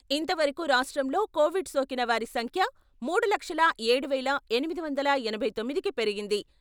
ఇంతవరకు రాష్ట్రంలో కోవిడ్ సోకిన వారి సంఖ్య మూడు లక్షల ఏడు వేల ఎనిమిది వందల ఎనభై తొమ్మిదికి పెరిగింది.